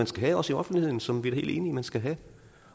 skal have også i offentligheden som vi er helt enige man skal have